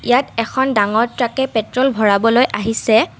ইয়াত এখন ডাঙৰ ট্ৰাকে পেট্ৰল ভৰাবলৈ আহিছে।